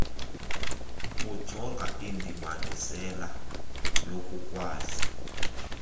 bujonga indibanisela yokukwazi